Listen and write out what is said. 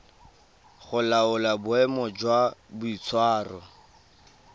go laola boemo jwa boitshwaro